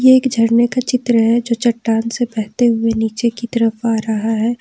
एक झरने का चित्र है जो चट्टान से बहते हुए नीचे की तरफ आ रहा है।